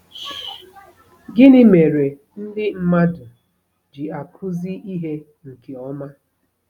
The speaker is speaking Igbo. Gịnị mere ndị mmadụ ji akụzi ihe nke ọma?